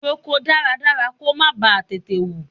Roko dáradára kó má ba tètè hù.